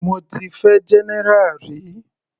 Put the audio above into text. Mo ti fẹ́ general rí.